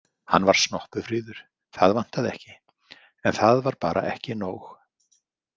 Hann var snoppufríður, það vantaði ekki, en það var bara ekki nóg.